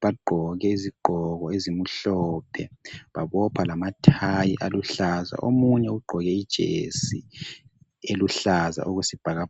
Bagqoke izigqoko ezimhlophe babopha lamathayi aluhlaza. Omunye ugqoke ijesi eluhlaza okwesibhakabhaka